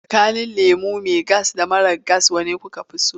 Tsakanin lemo mai gas da mara gas wane kuka fi so?